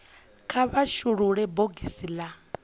kha vha shulule bogisi la